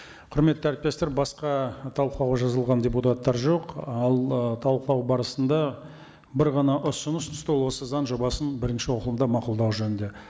құрметті әріптестер басқа талқылауға жазылған депутаттар жоқ ал ы талқылау барысында бір ғана ұсыныс түсті ол осы заң жобасын бірінші оқылымда мақұлдау жөнінде